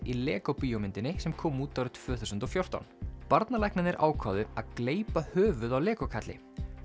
í Lego bíómynd sem kom út árið tvö þúsund og fjórtán barnalæknarnir ákváðu að gleypa höfuð á Lego kalli